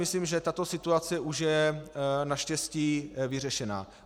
Myslím, že tato situace už je naštěstí vyřešena.